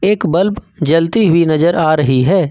एक बल्ब जलती हुई नजर आ रही है।